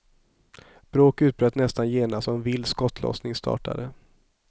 Bråk utbröt nästan genast och en vild skottlossning startade.